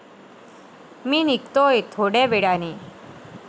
मी निघतोय थोडय़ा वेळाने.